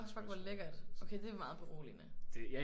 Nå fuck hvor lækkert. Okay det er meget beroligende